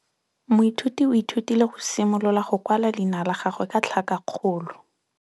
Moithuti o ithutile go simolola go kwala leina la gagwe ka tlhakakgolo.